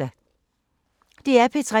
DR P3